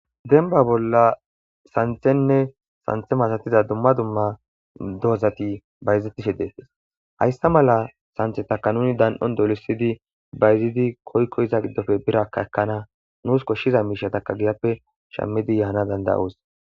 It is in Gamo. Demban bola santhene santhe masatiza dumma dumma dozati bayzetishe de'etes haysa mala santhetaka nuni dan'on dolisidi koyikon iza gidope birraka ekana nus koshiza mishata giyape shamana danda'os